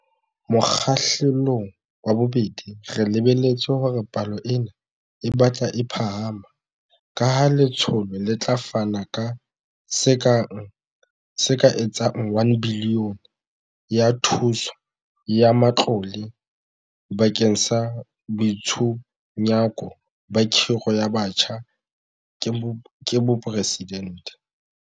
Mokgahlelong wa bobedi re lebeletse hore palo ena e batle e phahama, kaha letsholo le tla fana ka se ka etsang R1 bilione ya thuso ya matlole bakeng sa Boitshunyako ba Khiro ya Batjha ke Boporesidente.